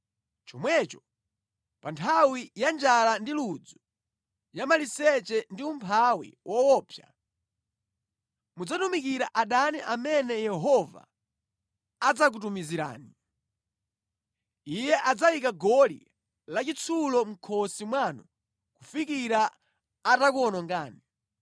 chomwecho pa nthawi ya njala ndi ludzu, ya maliseche ndi umphawi woopsa, mudzatumikira adani amene Yehova adzakutumizirani. Iye adzayika goli lachitsulo mʼkhosi mwanu kufikira atakuwonongani.